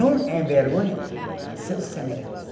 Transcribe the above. Não envergonha seus semelhantes.